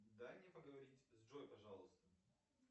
дай мне поговорить с джой пожалуйста